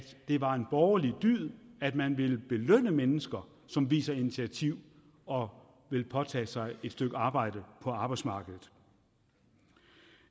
der var en borgerlig dyd at man ville belønne mennesker som viser initiativ og vil påtage sig et stykke arbejde på arbejdsmarkedet